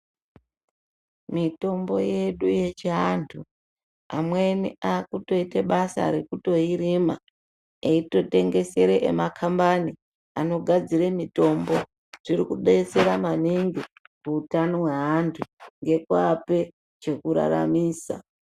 Mitombo yedu yechiantu amweni akutoite basa rekutoirima eitorengesere emakhambani anogadzire mitombo. zvirikudetsera maningi kuutano weantu nekuape chekuraramisa.